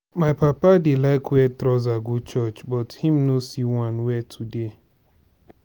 my papa dey like wear trouser go church but he no see one wear today.